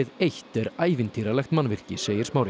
eitt er ævintýralegt mannvirki segir Smári